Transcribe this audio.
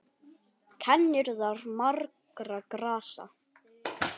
Kennir þar margra grasa.